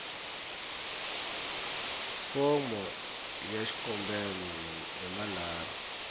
fomo ya xikombelo hi manharhu